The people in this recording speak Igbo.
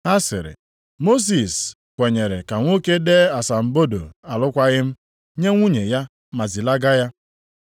Ha sịrị, “Mosis kwenyere ka nwoke dee asambodo alụkwaghị m, nye nwunye ya ma zilaga ya.”